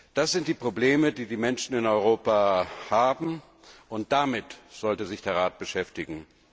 Das sind die Probleme, die die Menschen in Europa haben, und damit sollte sich der Rat beschäftigen.